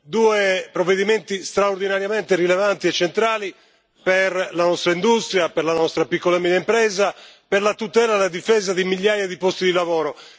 due provvedimenti straordinariamente rilevanti e centrali per la nostra industria, per la nostra piccola e media impresa, per la tutela e la difesa di migliaia di posti di lavoro.